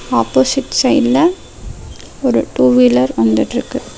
Opposite சைடுல ஒரு two wheeler வந்துட்டுருக்கு.